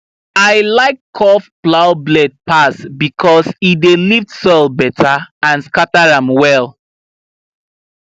i like curved plow blade pass because e dey lift soil better and scatter am well